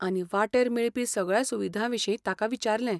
आनी वाटेर मेळपी सगळ्या सुविधां विशीं ताका विचारलें.